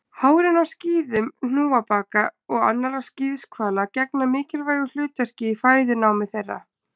Hárin á skíðum hnúfubaka og annarra skíðishvala gegna mikilvægu hlutverki í fæðunámi þeirra.